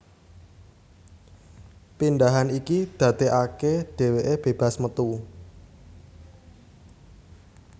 Pindhahan iki dadekake dheweke bebas metu